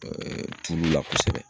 tulu la kosɛbɛ.